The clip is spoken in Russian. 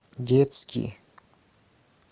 детский